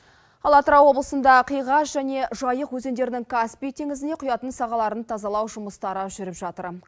ал атырау облысында қиғаш және жайық өзендерінің каспий теңізіне құятын сағаларын тазалау жұмыстары жүріп жатыр